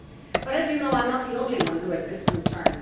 But, as you know, I am not the only one who has this concern.